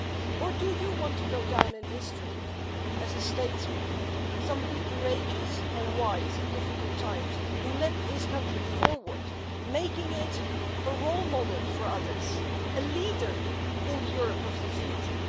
Or do you want to go down in history as a statesman, somebody courageous and wise in difficult times, who led his country forward, making it a role model for others, a leader in the Europe of the future.